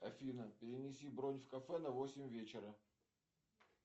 афина перенеси бронь в кафе на восемь вечера